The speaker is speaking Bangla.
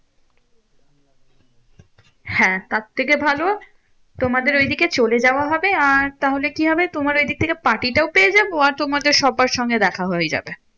হ্যাঁ তার থেকে ভালো তোমাদের ওইদিকে চলে যাওয়া হবে, আর তাহলে কি হবে? তোমার ঐদিক থেকে party টাও পেয়ে যাবো। আর তোমাদের সবার সঙ্গে দেখা হয়ে যাবে।